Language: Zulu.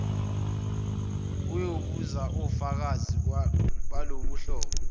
uyobuza ofakazi baloluhlobo